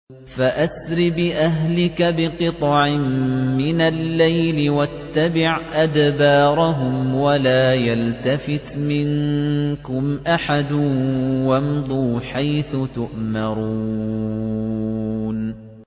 فَأَسْرِ بِأَهْلِكَ بِقِطْعٍ مِّنَ اللَّيْلِ وَاتَّبِعْ أَدْبَارَهُمْ وَلَا يَلْتَفِتْ مِنكُمْ أَحَدٌ وَامْضُوا حَيْثُ تُؤْمَرُونَ